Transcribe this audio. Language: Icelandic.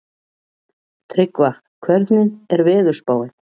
Tryggva, hvernig er veðurspáin?